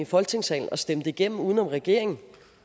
folketingssalen og stemme det igennem uden om regeringen